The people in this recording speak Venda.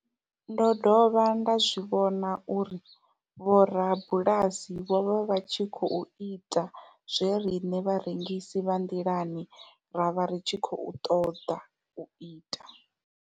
Ndo dovha nda zwi vhona uri vhorabulasi vho vha vha tshi khou ita zwe riṋe vharengisi vha nḓilani ra vha ri tshi khou toda uita.